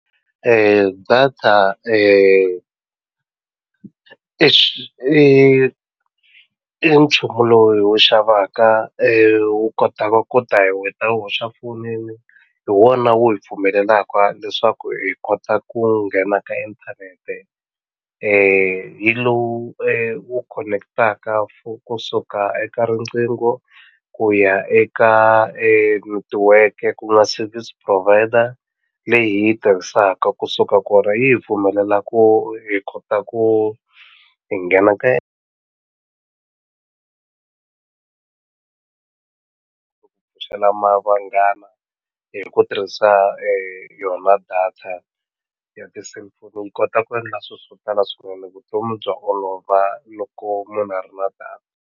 Data i i nchumu lowu hi wu xavaka wu kotaka ku hoxa fonini hi wona wu hi pfumelelaka leswaku hi kota ku nghena ka inthanete hi lowu wu khoneketaka kusuka eka riqingho ku ya eka netiweke ku nga service provider leyi hi yi tirhisaka kusuka kona yi hi pfumelela ku hi kota ku hi nghena ka pfuxela na vanghana hi ku tirhisa yona data ya ti-cellphone yi kota ku endla swi swo tala swinene vutomi bya olova loko munhu a ri na data.